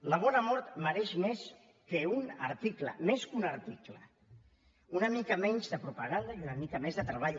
la bona mort mereix més que un article més que un article una mica menys de propaganda i una mica més de treball